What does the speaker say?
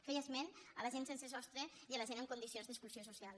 feia esment a la gent sense sostre i a la gent en condicions d’exclusió social